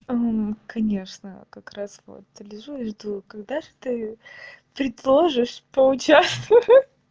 конечно как раз вот лежу жду когда же ты предложишь поучаствую